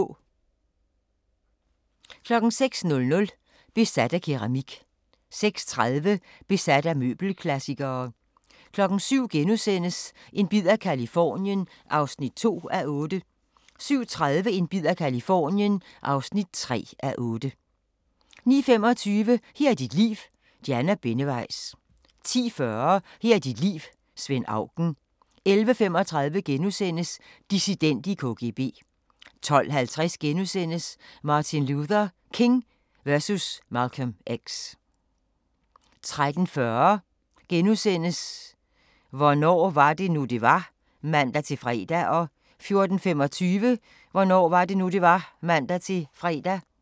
06:00: Besat af keramik 06:30: Besat af møbelklassikere 07:00: En bid af Californien (2:8)* 07:30: En bid af Californien (3:8) 09:25: Her er dit liv – Diana Benneweis 10:40: Her er dit liv – Svend Auken 11:35: Dissident i KGB * 12:50: Martin Luther King versus Malcolm X * 13:40: Hvornår var det nu, det var? *(man-fre) 14:25: Hvornår var det nu, det var? (man-fre)